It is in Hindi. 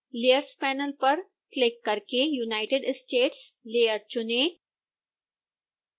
layers panel पर क्लिक करके unitedstates लेयर चुनें